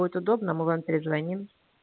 будет удобно мы вам перезвоним